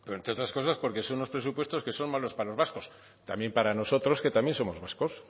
entre otras cosas porque son unos presupuestos que son malos para los vascos también para nosotros que también somos vascos